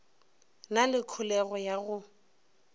na le kholego ya go